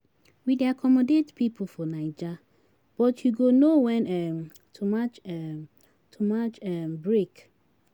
We dey accommodate pipu for Naija, but you go know wen um to match um to match um break.